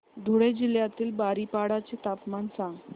धुळे जिल्ह्यातील बारीपाडा चे तापमान सांग